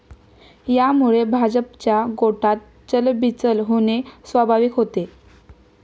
यामुळे भाजपच्या गोटात चलबिचल होणे स्वाभाविक होते.